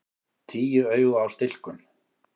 Tíu augu á stilkum!